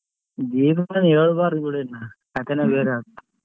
ಏನುಕೂಡ ಹೇಳ್ಬಾರ್ದ್ ಬಿಡ್ರಿನ ಕಥೆನೆ ಬೇರೆ ಅದು.